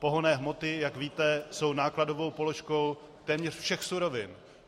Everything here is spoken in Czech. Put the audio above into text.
Pohonné hmoty, jak víte, jsou nákladovou položkou téměř všech surovin.